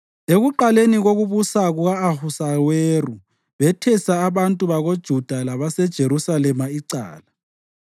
Ekuqaleni kokubusa kuka-Ahasuweru bethesa abantu bakoJuda labaseJerusalema icala.